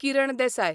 Kiran Desai